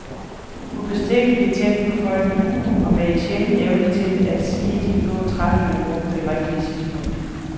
Ubestikkelig, tæt på folket, og med en sjælden evne til at sige de få, træffende ord på det rigtige tidspunkt.